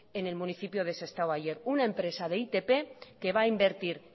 en el municipio de sestao ayer una empresa de itp que va a invertir